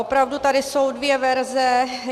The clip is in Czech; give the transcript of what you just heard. Opravdu tady jsou dvě verze.